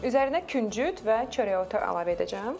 Üzərinə küncüt və çörəotu əlavə edəcəm.